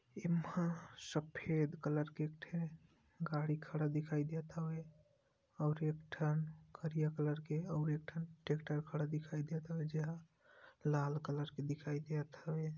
इम्हा सफेद कलर के इक ठे गाडी खड़ा दिखाई देत हवै और एक ठन करिया कलर के और एक ठन ट्रैक्टर खड़ा दिखाई देत हवै जेहा लाल कलर के दिखाई देयत हवै।